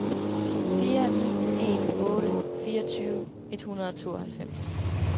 fire ni en otte fireogtyve et hundrede og tooghalvfems